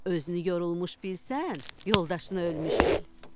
Özünü yorulmuş bilsən, yoldaşını ölmüş bil.